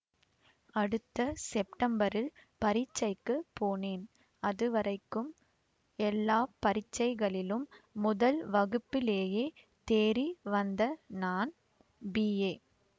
அடுத்த செப்டம்பரில் பரீட்சைக்குப் போனேன் அது வரைக்கும் எல்லா பரீட்சைகளிலும் முதல் வகுப்பிலேயே தேறி வந்த நான் பிஏ